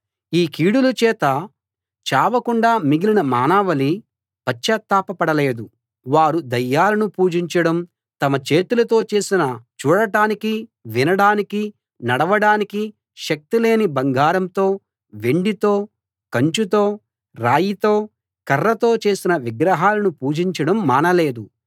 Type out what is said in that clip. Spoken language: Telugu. ఈ కీడుల చేత చావకుండా మిగిలిన మానవాళి పశ్చాత్తాపపడలేదు వారు దయ్యాలను పూజించడం తమ చేతులతో చేసిన చూడటానికీ వినడానికీ నడవడానికీ శక్తి లేని బంగారంతో వెండితో కంచుతో రాయితో కర్రతో చేసిన విగ్రహాలను పూజించడం మానలేదు